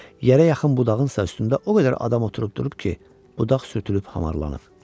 Yerə yaxın budağınsa üstündə o qədər adam oturub durub ki, budaq sürtülüb hamarlanıb.